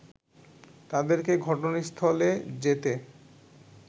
তাদেরকে ঘটনাস্থলে যেতে